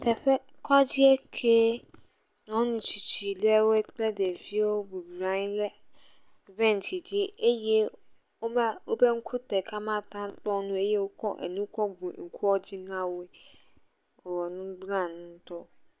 Teƒe. Kɔdzie ke. Nyɔnu tsitsi ɖewo kple ɖeviwo bublɔ anyi ɖe bentsi dzi eye wova, wobe ŋku ɖeka makpɔ nu eye wokɔ enu kɔ bu ŋkua dzi na wo.